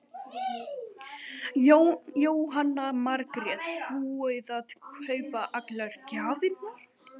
Jóhanna Margrét: Búið að kaupa allar gjafirnar?